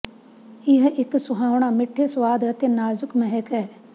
ਇਹ ਇੱਕ ਸੁਹਾਵਣਾ ਮਿੱਠੇ ਸੁਆਦ ਅਤੇ ਨਾਜ਼ੁਕ ਮਹਿਕ ਹੈ